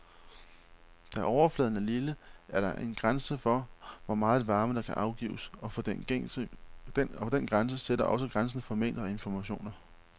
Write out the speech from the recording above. Da overfladen er lille, er der en grænse for, hvor meget varme der kan afgives, og den grænse sætter også grænsen for mængden af informationer.